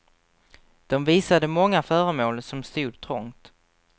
De visade många föremål, som stod trångt.